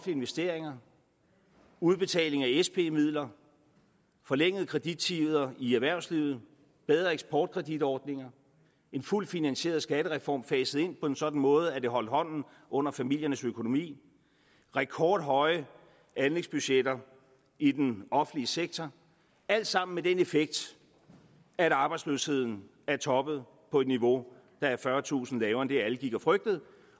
investeringer udbetaling af sp midler forlængede kredittider i erhvervslivet bedre eksportkreditordninger en fuldt finansieret skattereform faset ind på en sådan måde at den holdt hånden under familiernes økonomi rekordhøje anlægsbudgetter i den offentlige sektor alt sammen med den effekt at arbejdsløsheden er toppet på et niveau der er fyrretusind lavere end det alle gik og frygtede